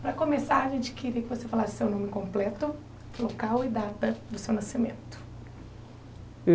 Para começar, a gente queria que você falasse seu nome completo, local e data do seu nascimento.